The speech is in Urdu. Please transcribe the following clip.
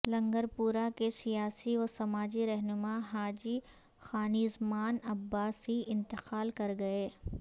لنگرپورہ کے سیاسی و سماجی رہنما حاجی خانیزمان عباسی انتقال کر گئے